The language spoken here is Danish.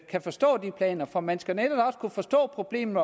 kan forstå de planer for man skal netop også kunne forstå problemet